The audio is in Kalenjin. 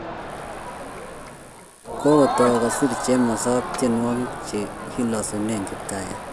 Kokotau kosir Chemosop tyenwogik che kilosune Kiptaiyat.